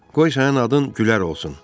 Qoy sənin adın Gülər olsun.